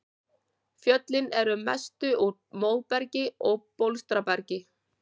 Fjöllin eru að mestu úr móbergi og bólstrabergi.